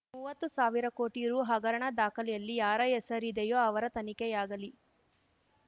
ಮುವತ್ತು ಸಾವಿರ ಕೋಟಿ ರೂ ಹಗರಣ ದಾಖಲೆಯಲ್ಲಿ ಯಾರ ಹೆಸರಿದೆಯೋ ಅವರ ತನಿಖೆಯಾಗಲಿ